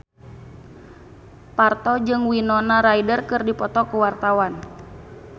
Parto jeung Winona Ryder keur dipoto ku wartawan